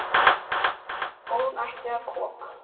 Og hún hætti að koma.